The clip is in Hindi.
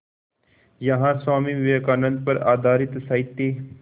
यहाँ स्वामी विवेकानंद पर आधारित साहित्य